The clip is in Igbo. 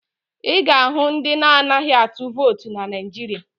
Ị ga-ahụ ndị na-anaghị atụ vootu na Naịjirịa